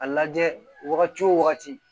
A lajɛ wagati wo wagati